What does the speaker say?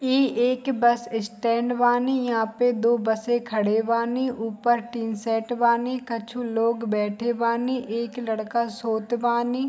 ई एक bus stand बानी यहां पे दो बसे खड़े बानी ऊपर टी-शर्ट बानी कछु लोग बैठे बानी एक लड़का सोत बानी।